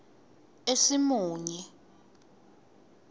esimunye